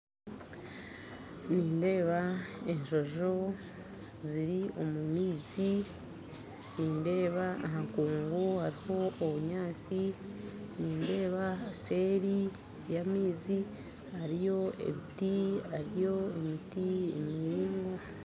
Nindeeba enjonjo ziri omu maizi nindeeba aha nkungu hariho obunyaatsi nindeeba seeri y'amaizi hariyo emiti miraingwa